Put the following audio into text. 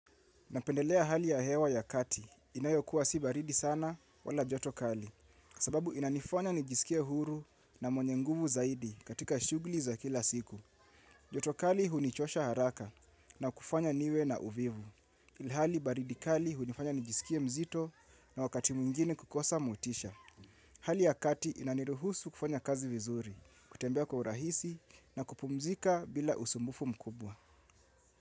Napendelea hali ya hewa ya kati, inayokuwa si baridi sana wala joto kali, sababu inanifanya nijisikie huru na mwenye nguvu zaidi katika shughuli za kila siku. Joto kali hunichosha haraka na kufanya niwe na uvivu. Ilhali baridi kali hunifanya nijisikie mzito na wakati mwingine kukosa motisha. Hali ya kati inaniruhusu kufanya kazi vizuri, kutembea kwa urahisi na kupumzika bila usumbufu mkubwa.